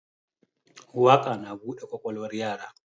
Waƙa na buɗe ƙwaƙwalwar yara